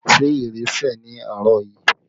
Ṣé ìrì sẹ̀ ní àárọ̀ yìí?